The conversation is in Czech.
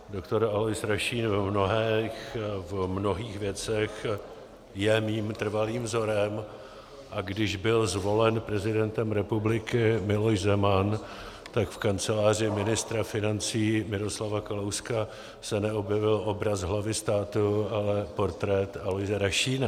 Doktor Alois Rašín v mnohých věcech je mým trvalým vzorem, a když byl zvolen prezidentem republiky Miloš Zeman, tak v kanceláři ministra financí Miroslava Kalouska se neobjevil obraz hlavy státu, ale portrét Aloise Rašína.